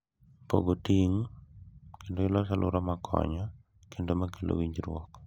Pogo ting’, kendo ilos alwora ma konyo kendo ma kelo winjruok